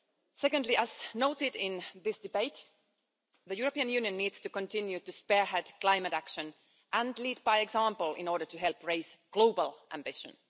Secondly, as noted in this debate, the European Union needs to continue to spearhead climate action and lead by example in order to help raise global ambition.